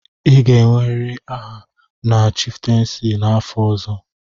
Ị ga-enwerịrị aha na chiftensi n'afọ ọzọ.